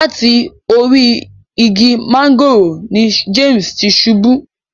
Lati orí ìgi mángòrò ni James ti ṣubù.